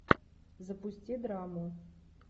запусти драму